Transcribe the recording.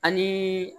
Ani